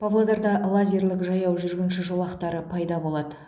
павлодарда лазерлік жаяу жүргінші жолақтары пайда болады